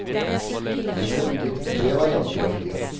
Det ble bygget tre varianter av flyet.